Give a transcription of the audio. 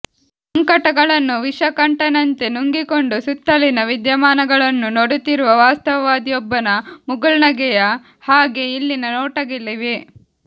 ಸಂಕಟಗಳನ್ನು ವಿಷಕಂಠನಂತೆ ನುಂಗಿಕೊಂಡು ಸುತ್ತಲಿನ ವಿದ್ಯಮಾನಗಳನ್ನು ನೋಡುತ್ತಿರುವ ವಾಸ್ತವವಾದಿಯೊಬ್ಬನ ಮುಗುಳ್ನಗೆಯ ಹಾಗೆ ಇಲ್ಲಿನ ನೋಟಗಳಿವೆ